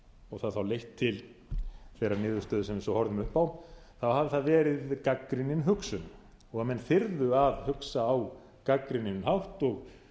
og það þá leitt til þeirrar niðurstöðu sem við svo horfum upp á hafi það verið gagnrýnin hugsun og að menn þyrðu að hugsa á gagnrýninn hátt og